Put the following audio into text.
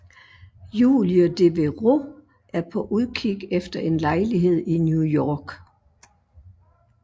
Julie Devereau er på udkig efter en lejlighed i New York